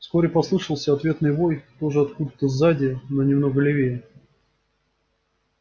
вскоре послышался ответный вой тоже откуда то сзади но немного левее